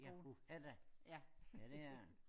Ja uha da! Ja det er det